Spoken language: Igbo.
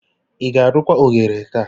Ị ga-arụkwa oghere taa?